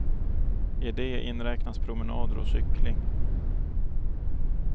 I det inräknas promenader och cykling.